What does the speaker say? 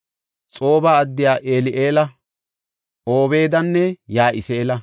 Xooba addiya El7eela, Obeedanne Ya7isi7eela.